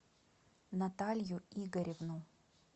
наталью игоревну